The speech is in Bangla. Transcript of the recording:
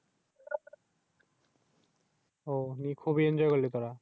খুবই Enjoy করলি তুরা?